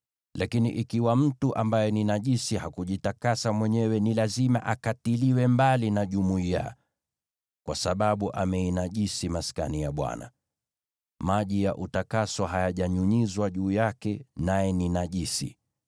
Lakini ikiwa mtu ambaye ni najisi hakujitakasa mwenyewe, ni lazima akatiliwe mbali na jumuiya, kwa sababu ameinajisi Maskani ya Bwana . Maji ya utakaso hayajanyunyizwa juu yake, naye ni najisi.